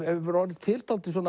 hefur orðið til dálítið